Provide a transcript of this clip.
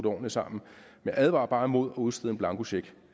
ordentligt sammen jeg advarer bare imod at udstede en blankocheck